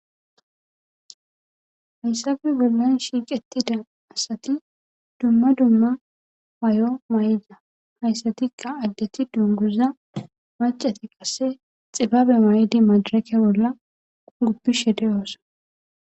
hayssabe bollan shiiqettida asati dumma dumma may7o may7ida hayssatikka addeti dunguza macati qasse xibabe may7idi majarake bolla guppi shede oossa